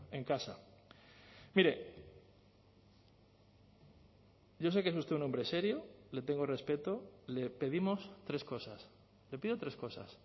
azpiazu en mire yo sé que es usted un hombre serio le tengo respeto le pedimos tres cosas le pido tres cosas